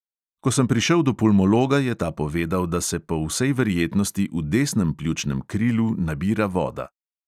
Ko sem prišel do pulmologa, je ta povedal, da se po vsej verjetnosti v desnem pljučnem krilu nabira voda.